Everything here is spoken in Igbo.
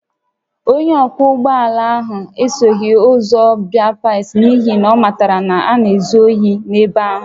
Onye ọkwọ ụgbọ ala ahụ esoghị ụzọ baịpaasị n’ihi na ọ matara na a na-ezu ohi n’ebe ahụ